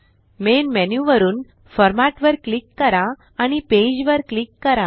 main menu वरुन format वर click करा आणि पेज वर क्लिक करा